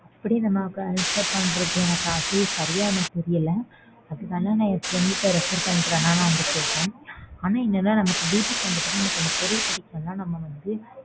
அப்படி நம்ம cancel பண்றது அது சரியா எனக்கு தெரியல அதவேணா நான் என் friend ட்ட refer பண்ணிட்டு வேணா உன்ட்ட சொல்றேன். ஆனா என்னென்னா நம்ம வீட்டுக்கு வந்த பிறகு அந்த பொருள் பிடிக்கலேன்னா நம்ம வந்து.